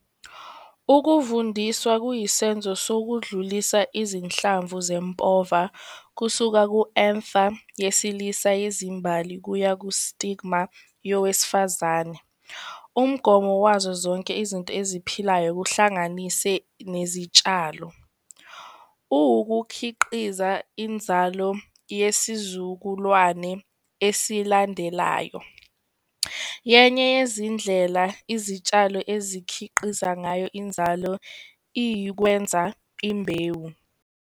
Ukuvundiswa kuyisenzo sokudlulisa izinhlamvu zempova kusuka ku-anther yesilisa yezimbali kuya ku-stigma yowesifazane. Umgomo wazo zonke izinto eziphilayo kuhlanganise nezitshalo. Ukukhiqiza inzalo yesizukulwane esilandelayo yenye yezindlela izitshalo ezikhiqiza ngayo inzalo ukwenza imbewu.